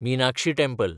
Meenakshi temple